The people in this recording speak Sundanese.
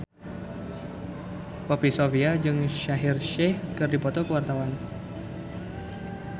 Poppy Sovia jeung Shaheer Sheikh keur dipoto ku wartawan